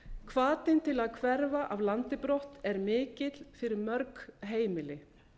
hvatinn til að hverfa af landi brott er mikill fyrir mörg heimili